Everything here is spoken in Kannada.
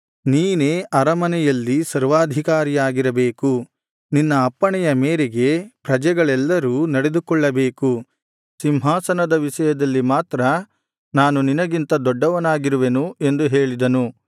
ನೀನೇ ಅರಮನೆಯಲ್ಲಿ ಸರ್ವಾಧಿಕಾರಿಯಾಗಿರಬೇಕು ನಿನ್ನ ಅಪ್ಪಣೆಯ ಮೇರೆಗೆ ಪ್ರಜೆಗಳೆಲ್ಲರೂ ನಡೆದುಕೊಳ್ಳಬೇಕು ಸಿಂಹಾಸನದ ವಿಷಯದಲ್ಲಿ ಮಾತ್ರ ನಾನು ನಿನಗಿಂತ ದೊಡ್ಡವನಾಗಿರುವೆನು ಎಂದು ಹೇಳಿದನು